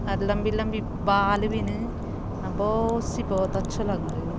अर लंबी-लंबी भौत सी भौत अच्छु लगण लग्युं।